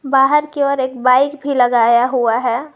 बाहर की ओर एक बाइक भी लगाया हुआ है।